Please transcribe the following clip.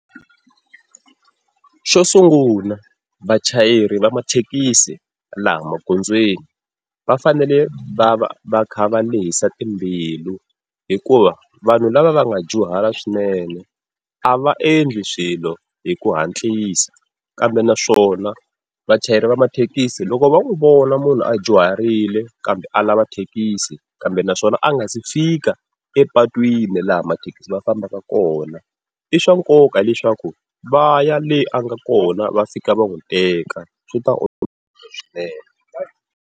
Xo sungula vachayeri va mathekisi laha magondzweni va fanele va va va kha va lehisa timbilu, hikuva vanhu lava va nga dyuhala swinene a va endli swilo hi ku hantlisa, kambe naswona vachayeri va mathekisi loko va n'wi vona munhu a dyuharile kambe a lava thekisi kambe naswona a nga si fika epatwini laha mathekisi mafambaka kona, i swa nkoka leswaku va ya le a nga kona va fika va n'wi teka swi ta olovisa swinene.